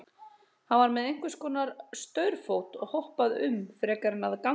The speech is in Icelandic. Hann var með einhvers konar staurfót og hoppaði um frekar en að ganga.